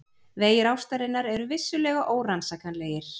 Vegir ástarinnar eru vissulega órannsakanlegir.